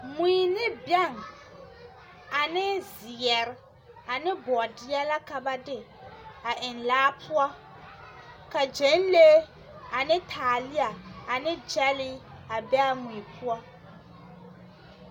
Mui ne bɛŋ ane zeɛre ane bɔɔdeɛ la ka ba de a eŋ laa poɔ, ka gyɛnlee ane taalea ane gyɛlee a be a mui poɔ. 13397